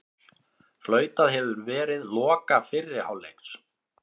Flautað hefur verið loka fyrri hálfleiks